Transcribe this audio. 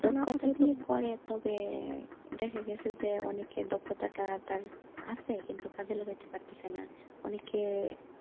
দক্ষতা দিয়ে করে তবে দেখা গাছে যে অনেকেই দক্ষতাটা তার আছে কিন্তু কাজে লাগাইতে পারছেনা অনেকে,